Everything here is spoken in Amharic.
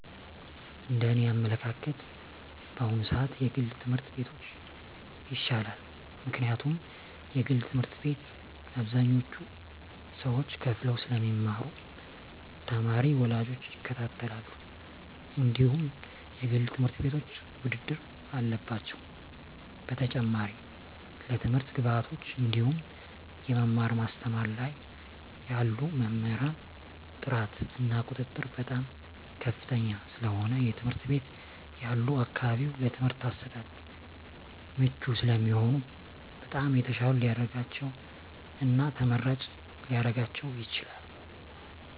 እንደ እኔ አመለካከት በአሁኑ ስዓት የግል ትምህርት ቤቶች ይሻላል ምክንያቱም የግል ትምህርት ቤት አብዛኞቹ ሰዎች ከፈለው ስለሚማሩ ተማሪ ወላጆች ይከታተላሉ እንድሁም የግል ትምህርት ቤቶች ውድድር አለባቸው በተጨማሪም ለትምህርት ግብዓቶች እንድሁም የመማር ማስተማር ላይ ያሉ መምህራን ጥራት እና ቁጥጥር በጣም ከፍተኛ ስለሆነ የትምህርት ቤት ያሉ አካባቢው ለትምህርት አሰጣጥ ምቹ ስለሚሆኑ በጣም የተሻለ ሊደርጋቸው እና ተመራጭ ሊረጋቸው ይችላል።